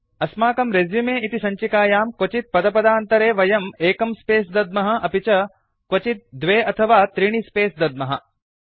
अस्माकं रेसुमे इति सञ्चिकायां क्वचित् पदपदान्तरे वयं एकं स्पेस् दद्मः अपि च क्वचित् द्वे अथवा त्रीणि स्पेस् दद्मः